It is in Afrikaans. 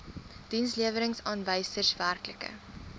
dienslewerings aanwysers werklike